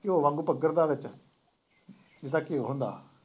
ਘਿਉ ਵਾਂਗੂ ਪਿਘਰਦਾ ਵਿੱਚ ਜਿਦਾਂ ਘਿਉ ਹੁੰਦਾ